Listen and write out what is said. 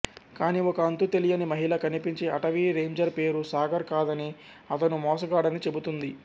కాని ఒక అంతు తెలియని మహిళ కనిపించి అటవీ రేంజర్ పేరు సాగర్ కాదనీ అతను మోసగాడనీ చెబుతుంది